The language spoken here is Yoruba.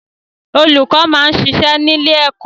Olùkọ́ máa ń ṣiṣẹ́ ní ilé ẹkọ.